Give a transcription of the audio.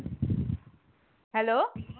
hello